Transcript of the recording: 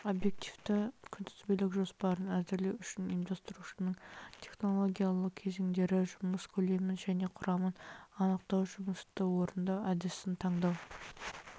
объективті күнтізбелік жоспарын әзірлеу үшін ұйымдастырушылық технологиялық кезеңдері жұмыс көлемін және құрамын анықтау жұмысты орындау әдісін таңдау